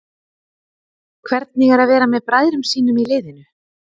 Hvernig er að vera með bræðrum sínum í liðinu?